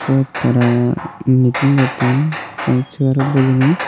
ebot tara meeting gotton segarot bojini.